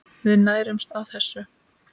Við nærumst á þessu.